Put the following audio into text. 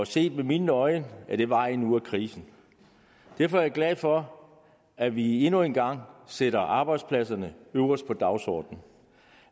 set med mine øjne er det vejen ud af krisen derfor er jeg glad for at vi endnu en gang sætter arbejdspladser øverst på dagsordenen